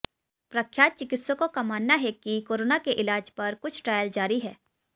प्रख्यात चिकित्सकों का मानना है कि कोरोना के इलाज पर कुछ ट्रायल जारी हैं